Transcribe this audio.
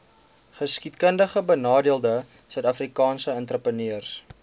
geskiedkundigbenadeelde suidafrikaanse entrepreneurs